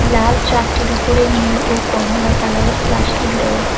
লাল truck -টির উপরে নীল ও কমলা কালারের প্লাস্টিক দেওয়া।